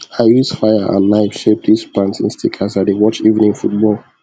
i use fire and knife shape this planting stick as i dey watch evening football